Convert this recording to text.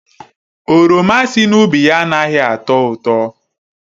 Oroma si n'ubi ya anaghị atọ ụtọ.